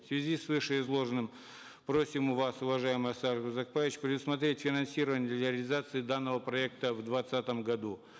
в связи с вышеизложенным просим вас уважаемый аскар узакбаевич предусмотреть финансирование реализации данного проекта в двадцатом году